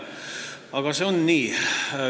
Aga nii see on.